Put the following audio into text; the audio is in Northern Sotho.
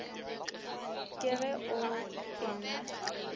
ke ge o e na